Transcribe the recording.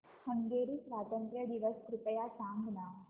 Hungary स्वातंत्र्य दिवस कृपया सांग ना